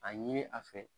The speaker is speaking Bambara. A ɲini a fɛ